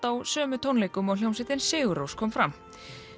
á sömu tónleikum og hljómsveitin Sigurrós kom fram